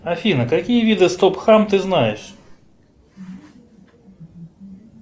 афина какие виды стоп хам ты знаешь